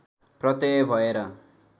प्रत्यय भएर